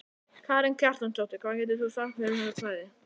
Karen Kjartansdóttir: Hvað getur þú sagt mér um þetta svæði?